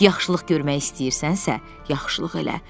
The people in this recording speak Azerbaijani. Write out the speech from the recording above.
Yaxşılıq görmək istəyirsənsə, yaxşılıq elə.